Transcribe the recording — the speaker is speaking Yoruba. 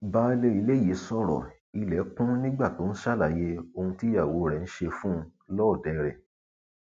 baálé ilé yìí sọrọ ilé kún nígbà tó ń ṣàlàyé ohun tíyàwó rẹ ń ṣe fún un lọọdẹ rẹ